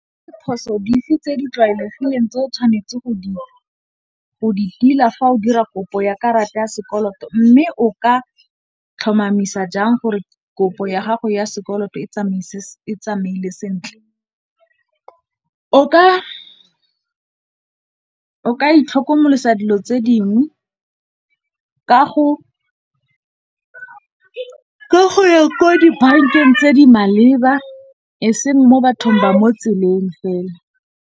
Diphoso dife tse di tlwaelegileng tse o tshwanetseng go di tila fa o dira kopo ya karata ya sekoloto, mme o ka tlhomamisa jang gore kopo ya gago ya sekoloto e tsamaile sentle. O ka itlhokomolosa dilo tse dingwe ka go ya ko dibankeng tse di maleba eseng mo bathong ba mo tseleng fela.